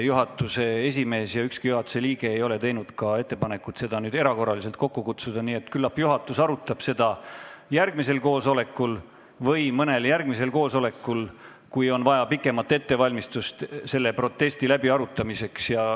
Juhatuse esimees ega ükski juhatuse liige pole teinud ka ettepanekut juhatust erakorraliselt kokku kutsuda, nii et küllap arutame seda järgmisel koosolekul või mõnel hilisemal koosolekul, kui selle protesti läbiarutamiseks on vaja pikemat ettevalmistamist.